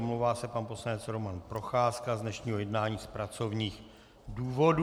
Omlouvá se pan poslanec Roman Procházka z dnešního jednání z pracovních důvodů.